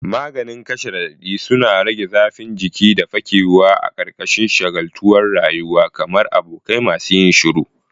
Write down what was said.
Maganin kashe radadi suna rage zafin jiki da ke fakewa a ƙarƙashin shagaltuwar rayuwa, kamar abokai masu yin shiru.